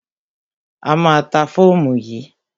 A má a ta fóòmù yìí.